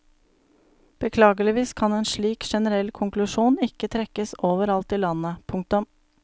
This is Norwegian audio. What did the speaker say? Beklageligvis kan en slik generell konklusjon ikke trekkes overalt i landet. punktum